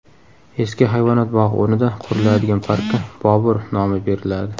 Eski hayvonot bog‘i o‘rnida quriladigan parkka Bobur nomi beriladi.